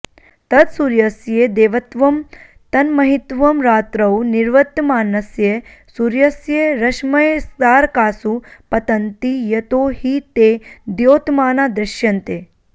तत्सूर्यस्य देवत्वं तन्महित्वम् रात्रौ निवर्तमानस्य सूर्यस्य रश्मयस्तारकासु पतन्ति यतो हि ते द्योतमाना दृश्यन्ते